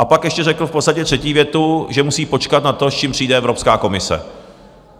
A pak ještě řekl v podstatě třetí větu, že musí počkat na to, s čím přijde Evropská komise.